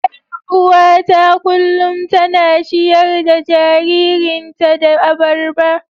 Yar uwata kullum tana ciyar da jaririnta da abarba.